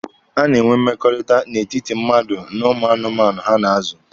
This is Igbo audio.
A na-enwe mmekọrịta n'etiti mmadụ na ụmụ anụmanụ ha na-azụ.